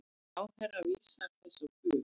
Ráðherra vísar þessu á bug.